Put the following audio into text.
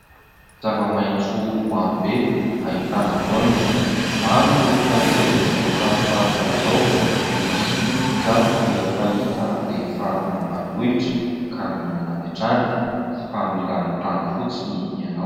Zava-maitso maro be, ahitana voaniny. Maro ny olona izay tia voankazo tahaka izao, misy moa izany dia fahita rehefa any ambanivohitra, ka mihinana avy hatrany, fa mila mitango fotsiny ianao.